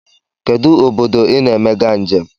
Kedụ obodo I na-emega njem?